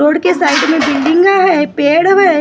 road के side में बिल्डिंगों है पेड़ है--